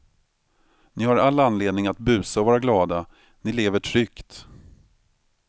Ni har all anledning att busa och vara glada, ni lever tryggt.